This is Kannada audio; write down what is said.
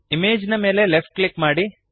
ಇಮೇಜ್ ನ ಮೇಲೆ ಲೆಫ್ಟ್ ಕ್ಲಿಕ್ ಮಾಡಿರಿ